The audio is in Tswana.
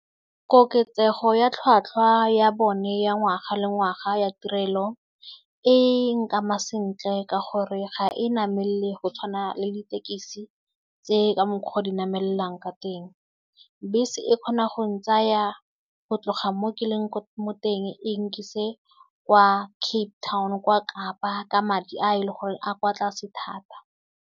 Koketsego ya tlhwatlhwa ya bone ya ngwaga le ngwaga ya tirelo e nkama sentle ka gore ga e namelle go tshwana le ditekisi tse ka mokgwa di namellang ka teng. Bese e kgona go ntsaya go tloga mo ke leng mo teng e nkise kwa Cape Town kwa Kapa ka madi a e leng gore a kwa tlase thata.